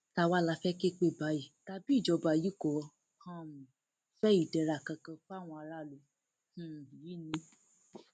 tá wàá là fẹẹ ké pè báyìí tàbí ìjọba yìí kò um fẹ ìdẹra kankan fáwọn aráàlú um yìí ni